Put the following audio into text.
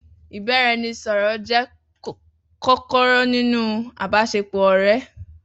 Ibaraẹnisọrọ jẹ kọkọrọ ninu àbàsẹ pọ ọrẹ.